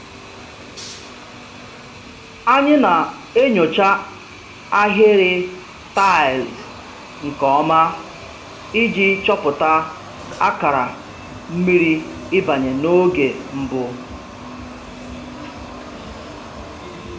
Anyị na-enyocha ahịrị taịls nke ọma iji chọpụta akara mmiri ịbanye n'oge mbụ